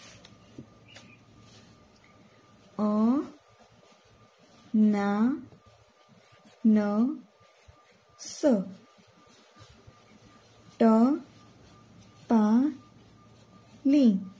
અનનાસ ટપાલી